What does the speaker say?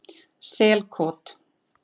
Selkoti